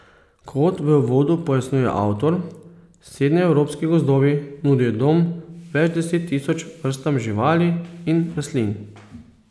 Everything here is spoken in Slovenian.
Kot v uvodu pojasnjuje avtor, srednjeevropski gozdovi nudijo dom več deset tisoč vrstam živali in rastlin.